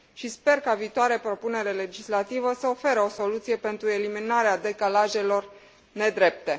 Sper ca viitoarea propunere legislativă să ofere o soluție pentru eliminarea decalajelor nedrepte.